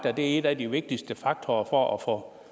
at en af de vigtigste faktorer når